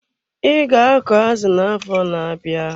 I ga akọ azụ na-afọ na-abịa.